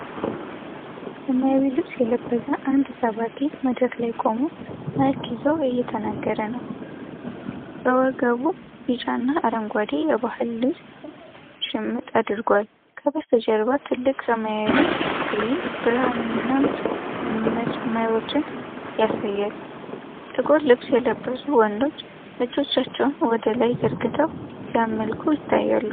በሰማያዊ ልብስ የለበሰ አንድ ሰባኪ፣ መድረክ ላይ ቆሞ ማይክ ይዞ እየተናገረ ነው። በወገቡ ቢጫና አረንጓዴ የባህል ልብስ ሽምጥ አድርጓል። ከበስተጀርባ ትልቅ ሰማያዊ ስክሪን ብርሃንንና መስመሮችን ያሳያል። ጥቁር ልብስ የለበሱ ወንዶች እጆቻቸውን ወደላይ ዘርግተው ሲያመልኩ ይታያሉ።